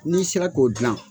N'i sera k'o dilan,